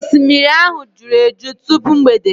osimiri ahụ juru eju tupu mgbede.